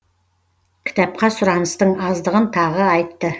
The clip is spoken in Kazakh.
кітапқа сұраныстың аздығын тағы айтты